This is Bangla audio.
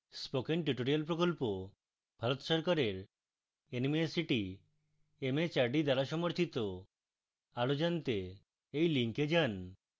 spoken tutorial প্রকল্প ভারত সরকারের nmeict mhrd দ্বারা সমর্থিত আরো জনাতে এই লিঙ্কে যান